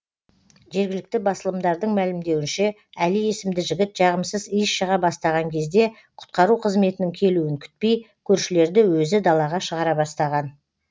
жергілікті басылымдардың мәлімдеуінше әли есімді жігіт жағымсыз иіс шыға бастаған кезде құтқару қызметінің келуін күтпей көршілерді өзі далаға шығара бастаған